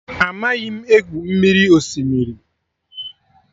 Amaghị m.egwu mmiri osimiri